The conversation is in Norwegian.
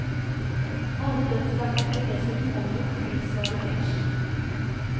Alle dødsstraffer blir dessuten omgjort til livsvarig fengsel.